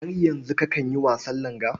Har yanzu kakan yi wasan langa?